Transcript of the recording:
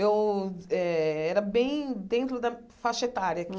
Eu era eh bem dentro da faixa etária